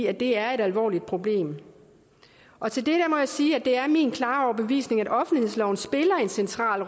at det er et alvorligt problem og til det må jeg sige at det er min klare overbevisning at offentlighedsloven spiller en central